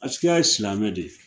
Askia ye silamɛ de ye